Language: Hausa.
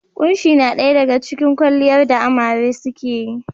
Kunshi na daya daga cikin kwaliyar da amare suke yi.